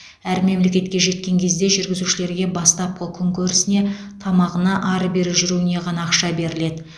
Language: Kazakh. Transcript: әр мемлекетке жеткен кезде жүргізушілерге бастапқы күнкөрісіне тамағына ары бері жүруіне ғана ақша беріледі